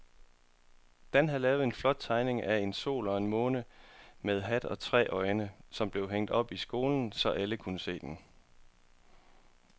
Dan havde lavet en flot tegning af en sol og en måne med hat og tre øjne, som blev hængt op i skolen, så alle kunne se den.